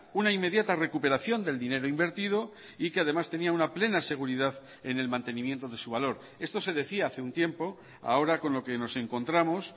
una inmediata recuperación del dinero invertido y que además tenía una plena seguridad en el mantenimiento de su valor esto se decía hace un tiempo ahora con lo que nos encontramos